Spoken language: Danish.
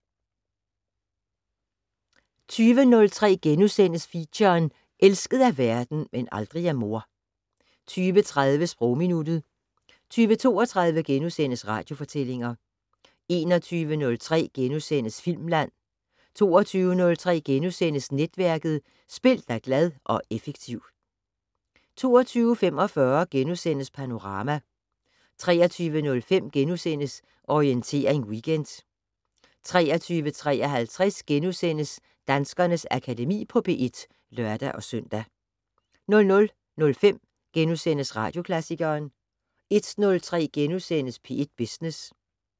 20:03: Feature: Elsket af verden - men aldrig af mor * 20:30: Sprogminuttet 20:32: Radiofortællinger * 21:03: Filmland * 22:03: Netværket: Spil dig glad og effektiv * 22:45: Panorama * 23:05: Orientering Weekend * 23:53: Danskernes Akademi på P1 *(lør-søn) 00:05: Radioklassikeren * 01:03: P1 Business *